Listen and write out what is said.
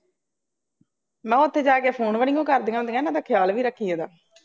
ਮੈਂ ਕਿਹਾ ਉੱਥੇ ਜਾ ਕੇ ਫੋਨ ਵੀ ਨਹੀਉਂ ਕਰਦੀਆਂ ਹੁੰਦੀਆਂ, ਇਹਨਾ ਦਾ ਖਿਆਲ ਵੀ ਰੱਖੀ ਇਹਦਾ